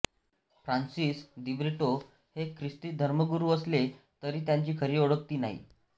Francis Dibrito हे ख्रिस्ती धर्मगुरू असले तरी त्यांची खरी ओळख ती नाही